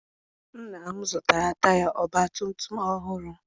Nna m zụtara taya ọgbatumtum ọhụụ.